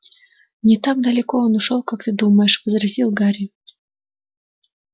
не так далеко он ушёл как ты думаешь возразил гарри